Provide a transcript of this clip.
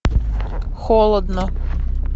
холодно